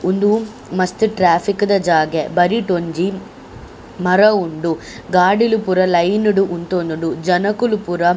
ಉಂದು ಮಸ್ತ್ ಟ್ರಾಫಿಕ್ ದ ಜಾಗೆ ಬರಿಟ್ ಒಂಜಿ ಮರ ಉಂಡು ಗಾಡಿಲ್ ಪೂರ ಲೈನ್ ಡ್ ಉಂತೋದುಂಡು ಜನೊಕುಲು ಪೂರ.